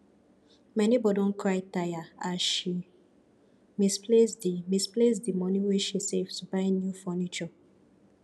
my nebor don cry tire as she misplace di misplace di money wey she save to buy new furniture